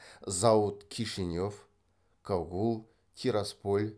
зауыт кишинев кагул тирасполь